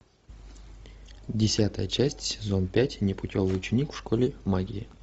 десятая часть сезон пять непутевый ученик в школе магии